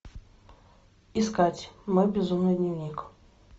искать мой безумный дневник